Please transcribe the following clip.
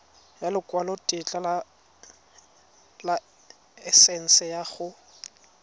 ya lekwalotetla laesense ya go